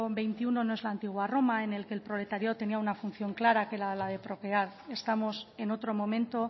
veintiuno no es la antigua roma en el que el proletariado tenía una función clara que era la de procrear estamos en otro momento